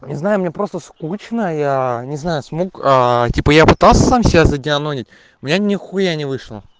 не знаю мне просто скучно я не знаю смог типа я пытался сам себя задеанонить у меня нихуя не вышло